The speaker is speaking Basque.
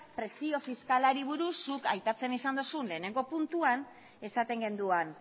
presio fiskalari buruz zuk aipatzen izan duzun lehenengo puntuan esaten genuen